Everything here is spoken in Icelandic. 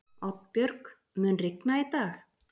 Oddbjörg, mun rigna í dag?